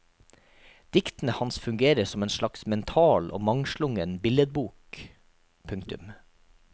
Diktene hans fungerer som en slags mental og mangslungen billedbok. punktum